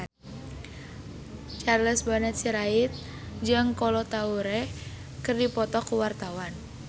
Charles Bonar Sirait jeung Kolo Taure keur dipoto ku wartawan